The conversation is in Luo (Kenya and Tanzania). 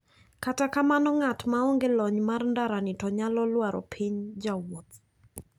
Kata kamano ng`at maonge lony mar ndarani to nyalo lwaro piny jawuoth.